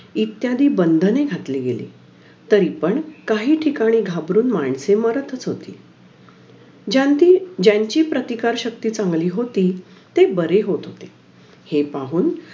अं नंतर दहावीला अश्याप्रकारे आमचे एक एक वर्ष जात. दहावी आली दहावी मंग शिक्षक दिन व्हता, तेव्हा मी